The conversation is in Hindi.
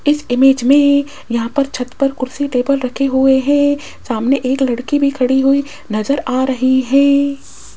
इस इमेज में यहां पर छत पर कुर्सी टेबल रखे हुए है सामने एक लड़की भी खड़ी हुई नजर आ रही है।